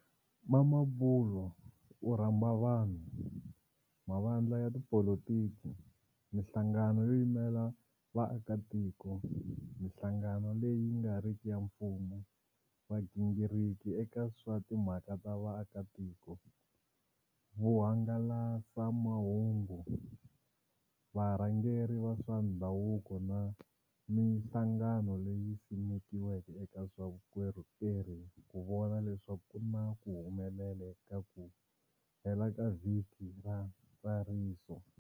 Mamabolo u rhamba vanhu, mavandla ya tipolitiki, mihlangano yo yimela vaakatiko, mihlangano leyi nga riki ya mfumo, vagingiriki eka swa timhaka ta vaakatiko, vuhangalasamahungu, varhangeri va swa ndhavuko na mihlangano leyi simekiweke eka swa vukorhokeri ku vona leswaku ku na ku humelela eka ku hela ka vhiki ra ntsariso.